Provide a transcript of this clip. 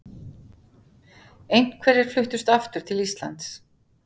Einhverjir fluttust aftur til Íslands.